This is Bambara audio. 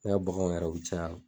Ne ka baganw yɛrɛ u bi caya